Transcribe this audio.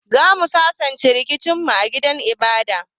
Zamu sasanta rikicin mu a gidan ibada.